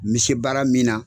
N me se baara min na